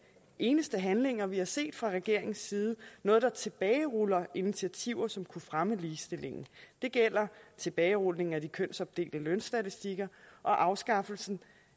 eneste handlinger vi har set fra regeringens side noget der tilbageruller initiativer som kunne fremme ligestillingen det gælder tilbagerulningen af de kønsopdelte lønstatistikker og afskaffelsen